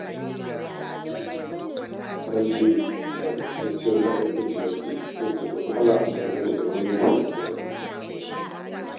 Talle jajirtacciyar ma'aikaciya ce, wadda da wuya a same ta da sakaci wajen aiki.